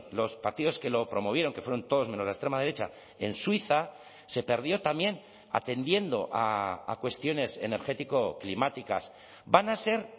los partidos que lo promovieron que fueron todos menos la extrema derecha en suiza se perdió también atendiendo a cuestiones energético climáticas van a ser